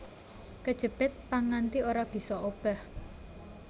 Kejepit pang nganti ora bisa obah